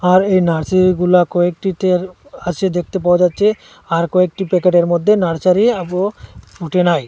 আর এই নার্সারিগুলা কয়েকটিতে আছে দেখতে পাওয়া যাচ্ছে আর কয়েকটি প্যাকেটের মধ্যে নার্সারি আবও ফুটেনাই।